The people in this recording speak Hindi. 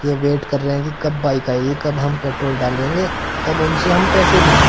यह वेट कर रहे हैं कि कब बाइक आएगी कब हम पेट्रोल डालेंगे कब उनसे हम पैसे लेंगे।